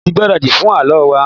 Mo tí gbáradi fún àlọ wa.